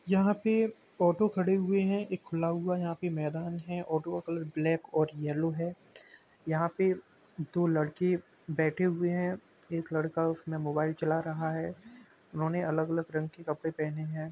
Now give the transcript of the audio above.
यहाँ पे ऑटो खड़े हुए हैं। एक खुला हुआ यहाँ पे मैदान है। ऑटो का कलर ब्लैक और येलो है। यहाँ पे दो लड़के बैठे हुए हैं। एक लड़का उसमें मोबाइल चला रहा है। उन्होंने अलग-अलग रंग के कपड़े पहने हैं।